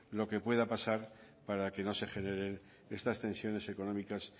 lo que pueda pasar para que no se generen estas tensiones económicas